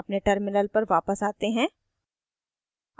अपने terminal पर वापस आते हैं